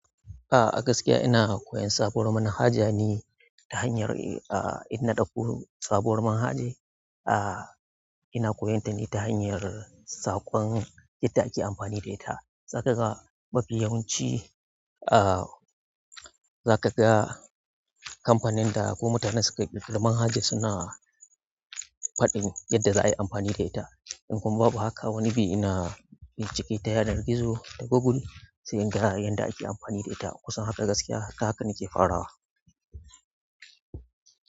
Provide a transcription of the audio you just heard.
A gaskiya ina koyan sabuwar manhaja ne ta hanyar, ah, idan na ɗauko sabuwar manhaja, ah, ina koyonta ne ta hanyar saƙon yadda ake amfani da ita. Zakaga mafi yawanci, ah, zakaga kamfanin da ko mutanen da suka ƙirƙir man haja suna faɗin yadda za a yi amfani da ita. In kuma babu haka, wani bi ina bincike ta yanar gizo ta Google, sai in ga yadda ake amfani da ita. Kusan haka gaskiya, haka nake farawa.